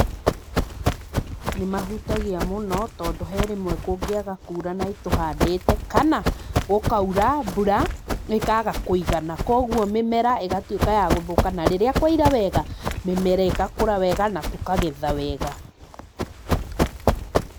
Nĩ mahutagia mũno tondũ he rĩmwe kũngĩaga kura na nĩ tũhandĩte kana gũkaura mbura ĩkaga kũigana. Koguo mĩmera ĩgatuĩka ya gũthũka na rĩrĩa kwaira wega mĩmera ĩgakũra wega na tũkagetha wega.